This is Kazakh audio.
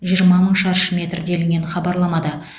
жиырма мың шаршы метр делінген хабарламада